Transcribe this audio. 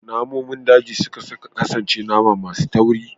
Namomin daji sukan kasance nama masu tauri